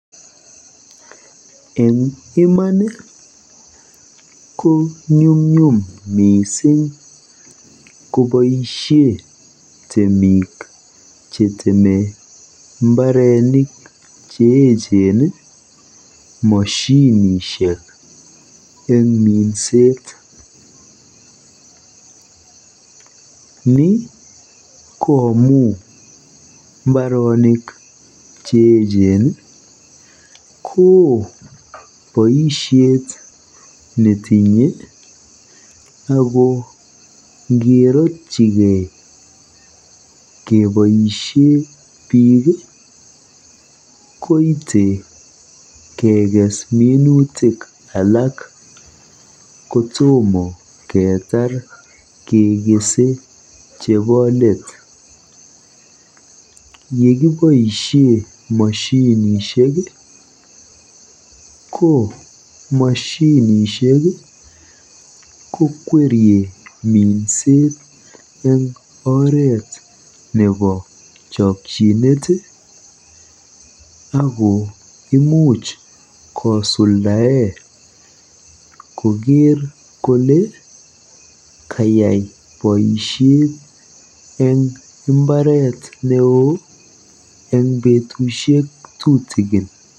Eng iman konyumnyum koboisie temik cheteme mbaronik cheechen moshinishek eng minset. Ni ko amu mbaronik cheechen koo boisiet netinye ako ngerotchigei keboisie biik koite kekes minutik alak kotomo keetar kekese chebo let. Yekiboisie biik moshinishek ko moshinishek ko kwerie boisiet eng oret nebo chochinet ako imuch kosuldae koker kole kayai boisiet eng mbaret neoo eng betusiek tutikin.